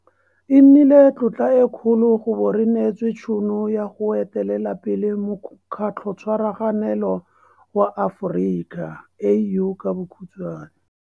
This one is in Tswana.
E nnile tlotla e kgolo go bo re neetswe tšhono ya go etelela pele Mokgatlhotshwaraganelo wa Aforika, AU..